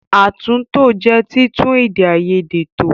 Àtúntò jẹ́ títún èdè àìyedè tò.